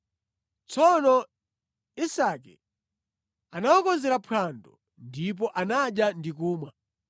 Tsono Isake anawakonzera phwando, ndipo anadya ndi kumwa.